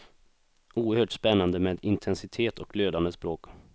Oerhört spännande med intensitet och glödande språk.